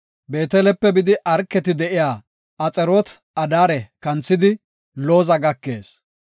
Beetelepe bidi, Arketi de7iya Axaroot-Adaare kanthidi, Looza gakees.